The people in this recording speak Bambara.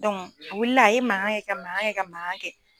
Dɔnku a wulila ye mangan kɛ ka mangan kɛ ka magan kɛ